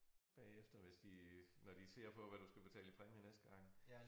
Bagefter hvis de når de ser på hvad du skal betale i præmie næste gang